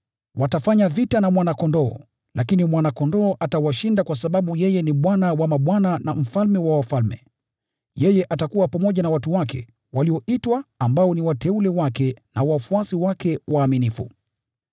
Watafanya vita na Mwana-Kondoo, lakini Mwana-Kondoo atawashinda kwa sababu yeye ni Bwana wa mabwana na Mfalme wa wafalme. Yeye atakuwa pamoja na watu wake walioitwa ambao ni wateule wake na wafuasi wake waaminifu.”